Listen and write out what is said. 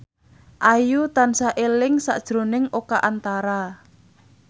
Ayu tansah eling sakjroning Oka Antara